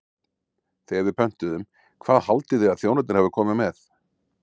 Þegar við pöntuðum, hvað haldið þið að þjónarnir hafi komið með?